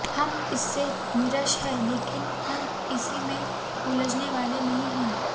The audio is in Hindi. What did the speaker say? हम इससे निराश हैं लेकिन हम इसी में उलझने वाले नहीं हैं